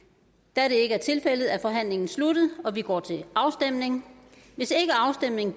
da det ikke er tilfældet er forhandlingen sluttet og vi går til afstemning afstemning